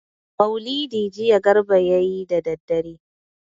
Maulidi jiya Garba ya yi da dare.